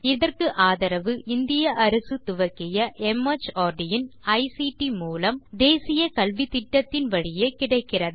இதற்கு ஆதரவு இந்திய அரசு துவக்கிய மார்ட் இன் ஐசிடி மூலம் தேசிய கல்வித்திட்டத்தின் வழியே கிடைக்கிறது